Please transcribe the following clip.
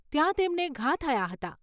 ત્યાં તેમને ઘા થયા હતા.